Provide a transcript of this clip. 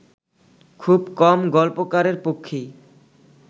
খুব কম গল্পকারের পক্ষেই